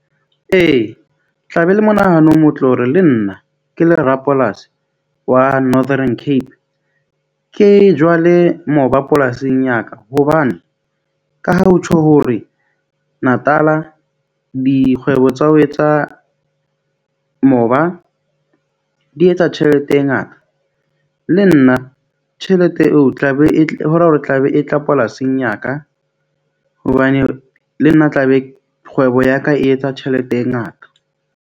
Ee, tla be le monahano o motle hore le nna ke le rapolasi wa Northern Cape. Ke jale moba polasing ya ka, hobane ka ha ho tjho hore Natala dikgwebo tsa ho etsa moba di etsa tjhelete e ngata. Le nna tjhelete eo o tla be e hore hore tla be e tla polasing ya ka hobane le nna tla be kgwebo ya ka e etsa tjhelete e ngata.